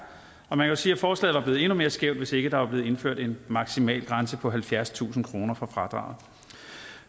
man kan sige at forslaget var blevet endnu mere skævt hvis ikke der var blevet indført en maksimalgrænse på halvfjerdstusind kroner for fradraget